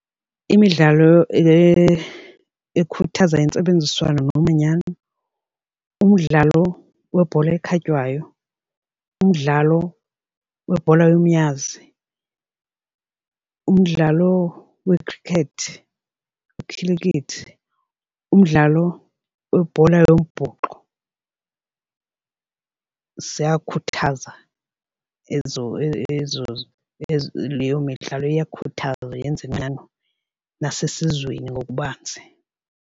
Imidlalo ekhuthaza intsebenziswano nomanyano, umdlalo webhola ekhatywayo, umdlalo webhola yomnyazi, umdlalo wekhrikethi ikhilikithi, umdlalo webhola yombhoxo, ziyakhuthaza ezo leyo midlalo iyakhuthaza yenza umanyano nasesizweni ngokubanzi.